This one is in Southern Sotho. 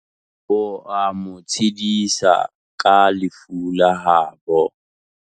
Oa mo tshedisa ka lefu la habo.